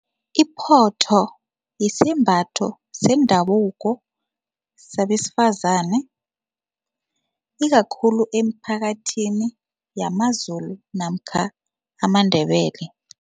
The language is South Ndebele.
Iphotho yisembatho sendabuko sabesifazane ikakhulu emiphakathini yamaZulu namkha amaNdebele.